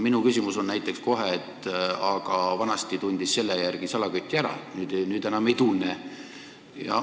Minu ütlen näiteks kohe, et vanasti tundis selle järgi salaküti ära, nüüd enam ei tunne.